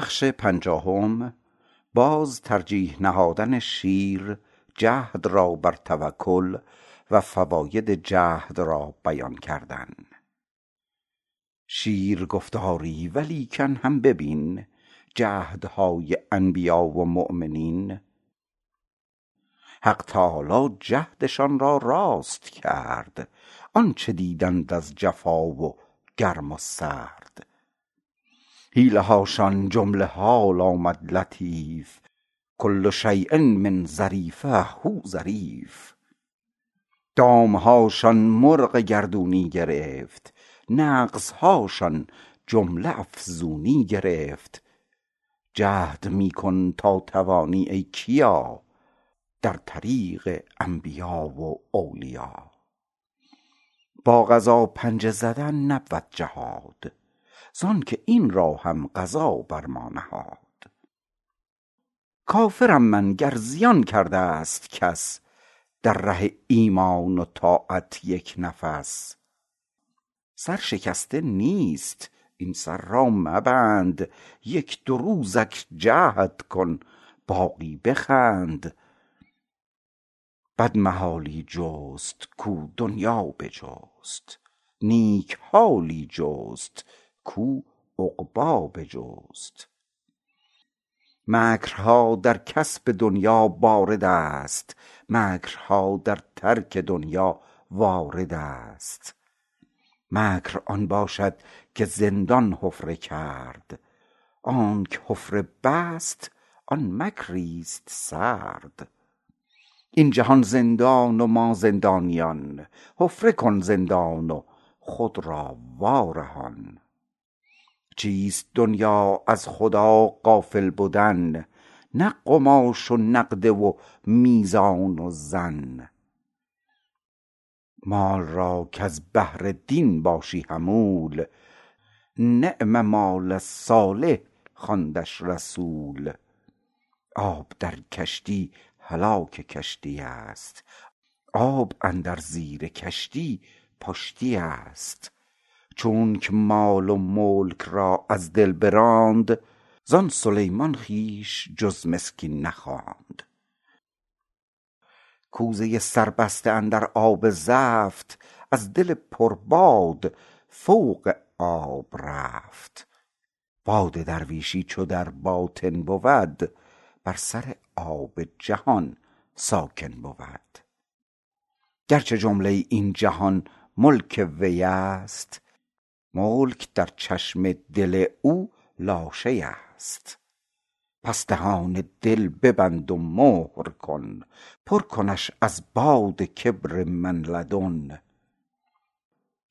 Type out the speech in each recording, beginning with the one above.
شیر گفت آری ولیکن هم ببین جهد های انبیا و مؤمنین حق تعالی جهد شان را راست کرد آنچه دیدند از جفا و گرم و سرد حیله هاشان جمله حال آمد لطیف کل شیء من ظریف هو ظریف دام هاشان مرغ گردونی گرفت نقص هاشان جمله افزونی گرفت جهد می کن تا توانی ای کیا در طریق انبیاء و اولیا با قضا پنجه زدن نبود جهاد زانکه این را هم قضا بر ما نهاد کافر م من گر زیان کرده ست کس در ره ایمان و طاعت یک نفس سر شکسته نیست این سر را مبند یک دو روزک جهد کن باقی بخند بد محالی جست کاو دنیا بجست نیک حالی جست کاو عقبی بجست مکر ها در کسب دنیا بارد است مکر ها در ترک دنیا وارد است مکر آن باشد که زندان حفره کرد آنکه حفره بست آن مکری ست سرد این جهان زندان و ما زندانیان حفره کن زندان و خود را وا رهان چیست دنیا از خدا غافل بدن نه قماش و نقده و میزان و زن مال را کز بهر دین باشی حمول نعم مال صالح خواندش رسول آب در کشتی هلاک کشتی است آب اندر زیر کشتی پشتی است چونکه مال و ملک را از دل براند زان سلیمان خویش جز مسکین نخواند کوزه سربسته اندر آب زفت از دل پر باد فوق آب رفت باد درویشی چو در باطن بود بر سر آب جهان ساکن بود گر چه جمله این جهان ملک وی ست ملک در چشم دل او لاشی ست پس دهان دل ببند و مهر کن پر کنش از باد کبر من لدن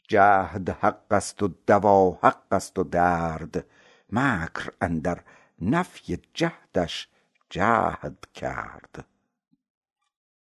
جهد حق ست و دوا حق ست و درد منکر اندر نفی جهد ش جهد کرد